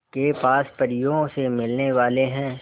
के पास परियों से मिलने वाले हैं